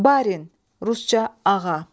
Barin, rusca ağa.